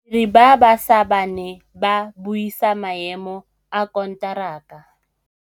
Badiri ba baša ba ne ba buisa maêmô a konteraka.